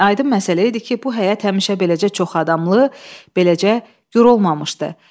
Aydın məsələ idi ki, bu həyət həmişə beləcə çox adamlı, beləcə gur olmamışdı.